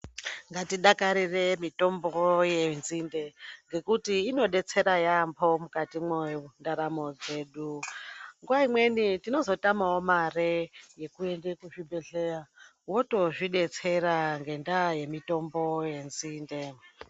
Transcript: Ngatidakarire mitombo yenzinde ngekuti inodetsera yambo mukati mwendaramo dzedu ngekuti nguva imweni tinozotamawo mare yekuende kuzvibhedhlera wotozvidetsera ngendaa yemitombo yenzinde.